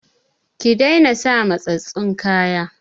Ki daina sa matsatstsun kaya!